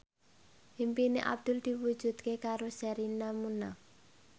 impine Abdul diwujudke karo Sherina Munaf